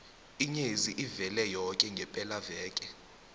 inyezi ivele yoke ngepelaveke